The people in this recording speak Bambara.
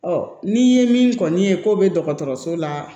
n'i ye min kɔni ye ko bɛ dɔgɔtɔrɔso la